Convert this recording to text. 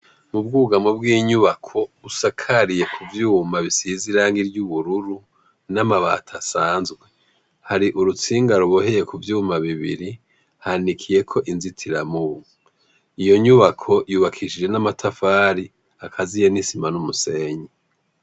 Ubwugwamo bw' inyubako busakariye kuvyuma bisize irangi ry' ubururu n' amabati asanzwe, hari urutsinga ruboheye kuvyuma bibiri hanikiyeko inzitiramubu iyo nyubako yubakishijwe n' amatafari akaziye n' isima n ' umusenyi.